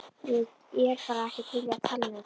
Ég er bara ekki til í að tala um þetta.